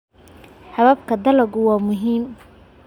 Hababka dalaggu waa muhiim.